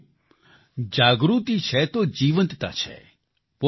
સાથીઓ જાગૃતિ છે તો જીવંતતા છે